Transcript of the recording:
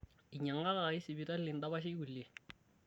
Einyang'akaki sipitali ndapashi kulie